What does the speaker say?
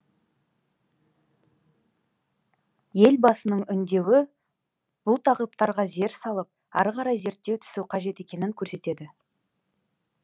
елбасының үндеуі бұл тақырыптарға зер салып ары қарай зерттей түсу қажет екенін көрсетеді